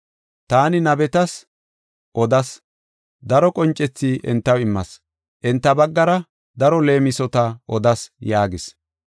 Taani nabetas odas; daro qoncethi entaw immas; enta baggara daro leemisota odas” yaagis.